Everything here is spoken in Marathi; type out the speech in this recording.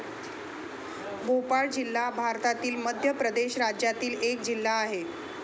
भोपाळ जिल्हा भारतातील मध्य प्रदेश राज्यातील एक जिल्हा आहे.